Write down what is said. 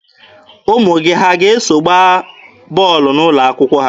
Ụmụ gị ha ga-eso gbaa bọọlụ n'ụlọ akwụkwọ ha?